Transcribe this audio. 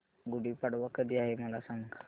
गुढी पाडवा कधी आहे मला सांग